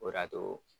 O de y'a to